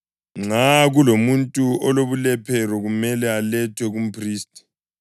Nxa kulomuntu olobulephero, kumele alethwe kumphristi.